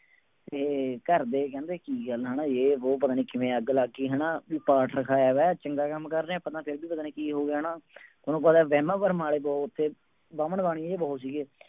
ਤੇ ਘਰਦੇ ਕਹਿੰਦੇ ਕੀ ਗੱਲ ਆ ਨਾ, ਜੇ ਵੋਹ ਪਤਾ ਨੀ ਕਿਵੇਂ ਅੱਗ ਲੱਗ ਗਈ ਹਨਾ ਵੀ ਪਾਠ ਰਖਾਇਆ ਹੋਇਆ ਚੰਗਾ ਕੰਮ ਕਰ ਰਹੇ ਹਾਂ ਆਪਾਂ ਤਾਂ ਫਿਰ ਵੀ ਪਤਾ ਨੀ ਕੀ ਹੋ ਗਿਆ ਹਨਾ ਤੁਹਾਨੂੰ ਪਤਾ ਵਹਿਮਾਂ ਭਰਮਾਂ ਵਾਲੇ ਬਹੁਤ ਉੱਥੇ ਬਾਹਮਣ ਬਾਣੀਏ ਜਿਹੇ ਬਹੁਤ ਸੀਗੇ।